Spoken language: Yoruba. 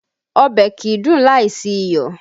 Ọbẹ̀ kìí dùn láìsí iyọ̀